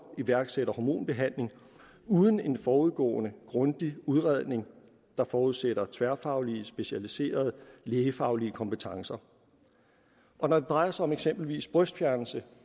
iværksætter en hormonbehandling uden en forudgående grundig udredning der forudsætter tværfaglige specialiserede lægefaglige kompetencer når det drejer sig om eksempelvis brystfjernelse